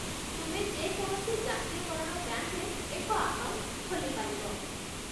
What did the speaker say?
ତୁମେ ଯେ କୌଣସି ଜାତୀୟକରଣ ବ୍ୟାଙ୍କରେ ଏକ ଆକାଉଣ୍ଟ ଖୋଲିପାରିବ।